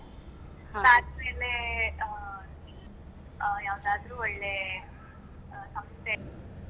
ಅಹ್ ಅಹ್ ಯಾವುದಾದ್ರೂ ಒಳ್ಳೆ ಸಂಸ್ಥೆ.